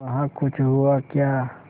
वहाँ कुछ हुआ क्या